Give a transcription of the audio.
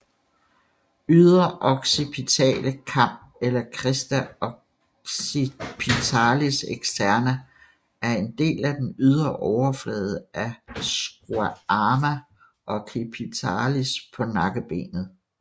Ydre occipitale kam eller Crista occipitalis externa er en del af den ydre overflade af squama occipitalis på nakkebenet